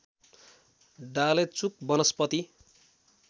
डालेचुक वनस्पति